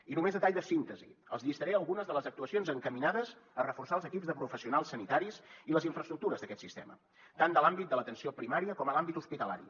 i només a tall de síntesi els llistaré algunes de les actuacions encaminades a reforçar els equips de professionals sanitaris i les infraestructures d’aquest sistema tant de l’àmbit de l’atenció primària com a l’àmbit hospitalari